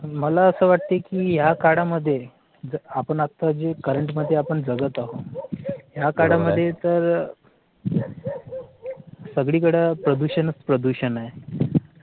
मला असं वाटतं की या काडा मध्ये आपण आता जे current मध्ये आपण जगत आहोत. या काळा मध्ये तर अह सगळीकडे प्रदूषण प्रदूषण आहे